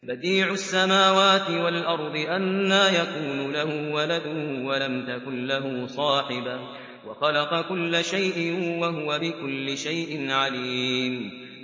بَدِيعُ السَّمَاوَاتِ وَالْأَرْضِ ۖ أَنَّىٰ يَكُونُ لَهُ وَلَدٌ وَلَمْ تَكُن لَّهُ صَاحِبَةٌ ۖ وَخَلَقَ كُلَّ شَيْءٍ ۖ وَهُوَ بِكُلِّ شَيْءٍ عَلِيمٌ